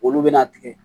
Olu bɛna tigɛ